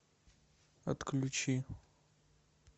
отключи